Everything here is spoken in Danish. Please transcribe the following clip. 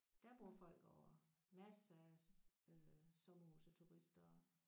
Der bor folk ovre masser af øh sommerhuse og turister